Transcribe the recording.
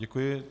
Děkuji.